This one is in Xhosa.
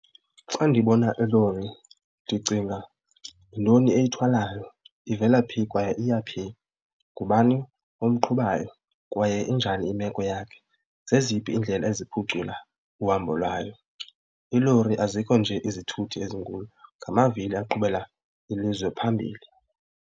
Xa ndibona ilori ndicinga yintoni eyithwalayo ivela phi kwaye iya phi, ngubani umqhubayo kwaye injani imeko yakhe, zeziphi iindlela eziphucula uhambo lwayo. Iilori azikho nje izithuthi ezinkulu ngamavili aqhubela ilizwe phambili.